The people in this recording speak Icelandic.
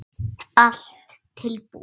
Allt búið